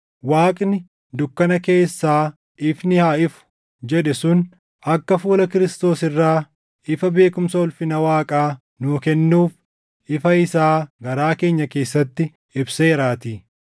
Waaqni, “Dukkana keessaa ifni haa ifu” + 4:6 \+xt Uma 1:3\+xt* jedhe sun akka fuula Kiristoos irraa ifa beekumsa ulfina Waaqaa nuu kennuuf ifa isaa garaa keenya keessatti ibseeraatii.